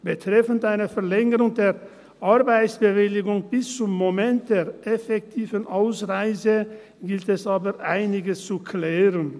Betreffend eine Verlängerung der Arbeitsbewilligung bis zum Moment der effektiven Ausreise gilt es aber einiges zu klären.